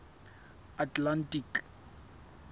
atlantic